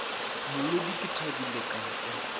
molodi ke thabile ka kwa